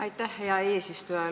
Aitäh, hea eesistuja!